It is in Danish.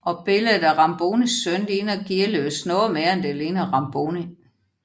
Og billedet af Rambonis søn ligner Gearløs noget mere end det ligner Ramboni